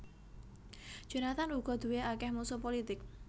Jonathan uga duwé akèh musuh pulitik